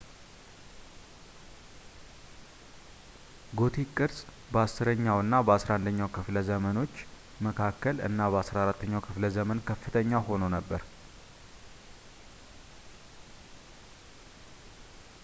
ጎቲክ ቅርጽ በ10ኛው እና በ11ኛው ከፍለ ዘመኖች መካከል እና በ14ኛው ክፍለ ዘመን ከፍተኛ ሆኖ ነበር